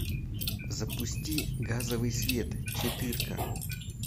запусти газовый свет четырка